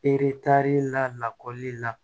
Eretari la lakɔli la